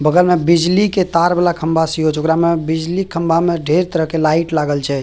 बगल में बिजली के तार वाला खंभा से हो छै ओकरा में बिजली खंभा में ढेर तरह के लाइट लागल छै।